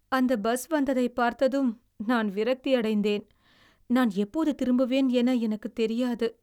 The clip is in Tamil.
அந்த பஸ் வந்ததை பார்த்ததும் நான் விரக்தியடைந்தேன். நான் எப்போது திரும்புவேன் என எனக்குத் தெரியாது.